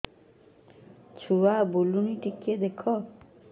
ଛୁଆ ବୁଲୁନି ଟିକେ ଦେଖ